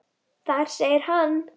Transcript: Þar segir hann